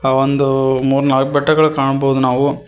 ಅ ಒಂದು ಮೂರ್ನಾಲ್ಕ ಬೆಟ್ಟಗಳನ್ನು ಕಾಣಬೊದು ನಾವು.